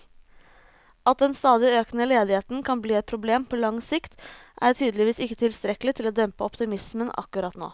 At den stadig økende ledigheten kan bli et problem på lang sikt, er tydeligvis ikke tilstrekkelig til å dempe optimismen akkurat nå.